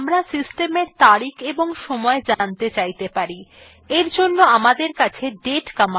আমরা system we তারিখ এবং সময় জানতে চাইতে পারি we জন্য আমাদের কাছে date command আছে